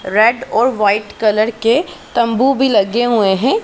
Red और white colour के तंबू भी लगे हुए हैं।